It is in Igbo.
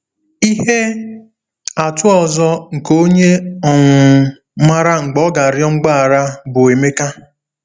Ihe atụ ọzọ nke onye um maara mgbe ọ ga-arịọ mgbaghara bụ Emeka.